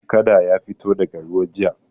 Kada ya fito daga ruwa jiya.